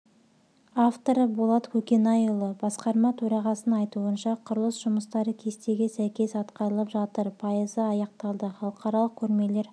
авторы болат көкенайұлы басқарма төрағасының айтуынша құрылыс жұмыстары кестеге сәйкес атқарылып жатыр пайызы аяқталды халықаралық көрмелер